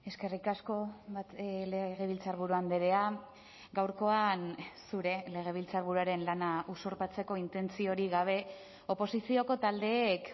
eskerrik asko legebiltzarburu andrea gaurkoan zure legebiltzarburuaren lana usurpatzeko intentziorik gabe oposizioko taldeek